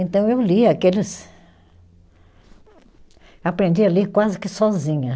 Então eu lia aqueles. Aprendi a ler quase que sozinha.